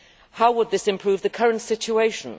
How would this improve the current situation?